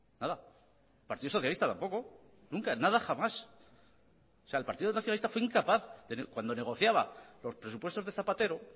nada partido socialista tampoco nunca jamás o sea el partido nacionalista fue incapaz cuando negociaba los presupuestos de zapatero